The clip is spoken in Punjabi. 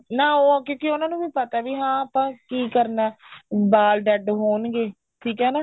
ਨਾ ਉਹ ਕਿਉਂਕਿ ਉਹਨਾ ਨੂੰ ਵੀ ਪਤਾ ਵੀ ਹਾਂ ਆਪਾਂ ਕਿ ਕਰਨਾ ਐ ਬਾਲ dead ਹੋਣਗੇ ਠੀਕ ਐ ਨਾ